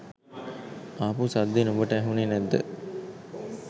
ආපු සද්දෙ නුඹට ඇහුනෙ නැද්ද?